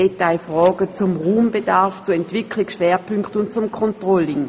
Es handelte sich um Fragen zum Raumbedarf, zu Entwicklungsschwerpunkten und zum Controlling.